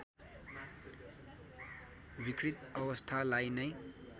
विकृत अवस्थालाई नै